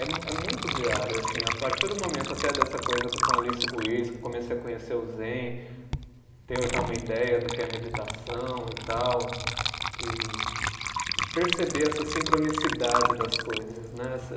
É mu, é muito diário, assim, a partir do momento até dessa coisa com a Alice Ruiz, que eu comecei a conhecer o Zen, tenho já uma ideia do que é meditação e tal, e e perceber essa sincronicidade das coisas, né? Essa